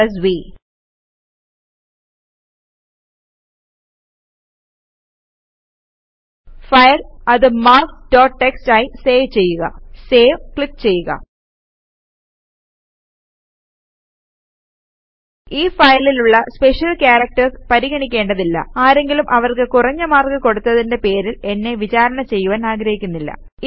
file അത് marks dot TXT ആയി save ചെയ്യുക Saveക്ലിക് ചെയ്യുക ഈ ഫയലിലുള്ള സ്പെഷ്യൽ ക്യാരക്ടേര്സ് പരിഗണിക്കേണ്ടതില്ല ആരെങ്കിലും അവർക്ക് കുറഞ്ഞ മാർക്ക് കൊടുത്തത്തിന്റെ പേരിൽ എന്നെ വിചാരണ ചെയ്യുവാൻ ഞാനാഗ്രഹിക്കുന്നില്ല